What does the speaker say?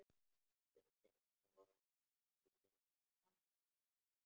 Stundi ofan í balann.